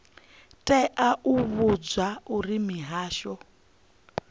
tea u vhudzwa uri mihasho